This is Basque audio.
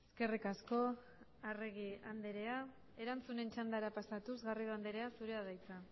eskerrik asko arregi andrea erantzunen txandara pasatuz garrido andrea zurea da hitza